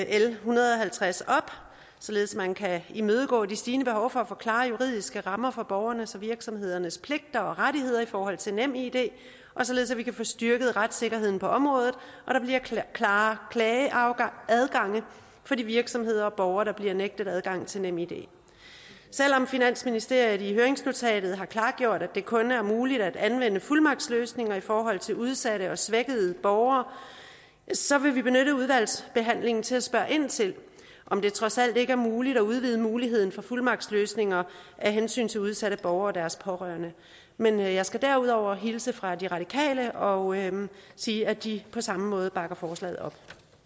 l en hundrede og halvtreds op således at man kan imødekomme det stigende behov for at få klare juridiske rammer for borgernes og virksomhedernes pligter og rettigheder i forhold til nemid og således at vi kan få styrket retssikkerheden på området og der bliver klare klageadgange for de virksomheder og borgere der bliver nægtet adgang til nemid selv om finansministeriet i høringsnotatet har klargjort at det kun er muligt at anvende fuldmagtsløsninger i forhold til udsatte og svækkede borgere så vil vi benytte udvalgsbehandlingen til at spørge ind til om det trods alt ikke er muligt at udvide muligheden for fuldmagtsløsninger af hensyn til udsatte borgere og deres pårørende men jeg skal derudover hilse fra de radikale og sige at de på samme måde bakker forslaget op